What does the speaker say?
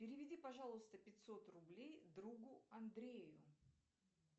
переведи пожалуйста пятьсот рублей другу андрею